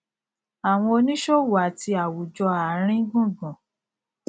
àwọn oníṣòwò àti àwùjọ àárín gbùngbùn